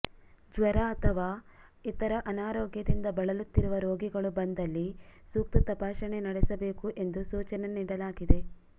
ಜ್ವರ ಅಥವಾ ಇತರ ಅನಾರೋಗ್ಯದಿಂದ ಬಳಲುತ್ತಿರುವ ರೋಗಿಗಳು ಬಂದಲ್ಲಿ ಸೂಕ್ತ ತಪಾಸಣೆ ನಡೆಸಬೇಕು ಎಂದು ಸೂಚನೆ ನೀಡಲಾಗಿದೆ